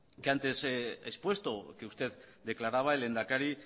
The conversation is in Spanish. que antes he expuesto que usted declaraba el lehendakari